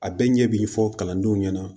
A bɛɛ ɲɛ bi fɔ kalandenw ɲɛna